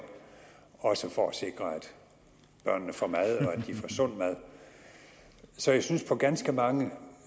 også for at sikre at børnene får mad og at de får sund mad så jeg synes på ganske mange